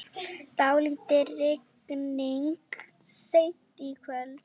Dálítil rigning seint í kvöld